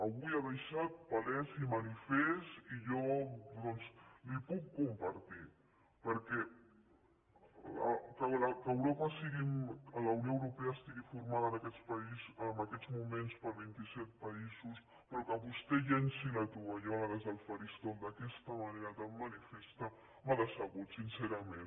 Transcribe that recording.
avui ha deixat palès i manifest i jo doncs ho puc compartir perquè que la unió europea estigui formada en aquests moments per vint i set països però que vostè llenci la tovallola des del faristol d’aquesta manera tan manifesta m’ha decebut sincerament